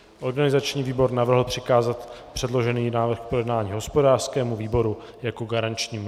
Organizační výbor navrhl přikázat předložený návrh k projednání hospodářskému výboru jako garančnímu.